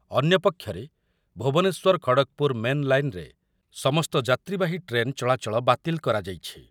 ଅନ୍ୟପକ୍ଷରେ ଭୁବନେଶ୍ୱର ଖଡ଼ଗ୍‌ପୁର ମେନ୍ ଲାଇନ୍‌ରେ ସମସ୍ତ ଯାତ୍ରୀବାହୀ ଟ୍ରେନ୍ ଚଳାଚଳ ବାତିଲ୍ କରାଯାଇଛି ।